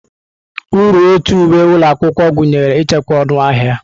Uru ọtu uwe ụlọ akwụkwọ gụnyere ichekwa ọnụ ahịa.